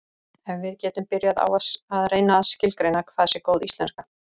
En við getum byrjað á að reyna að skilgreina hvað sé góð íslenska.